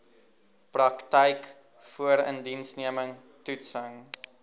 praktyk voorindiensneming toetsing